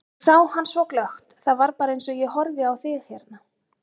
Ég sá hann svo glöggt, það var bara eins og ég horfi á þig hérna.